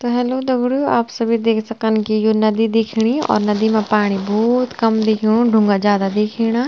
तो हेल्लो दगडियों आप सभी देख सकन की यु नदी दिखणी और नदि मा पाणी भोत कम दिखेणु ढुंगा जादा दिखेणा।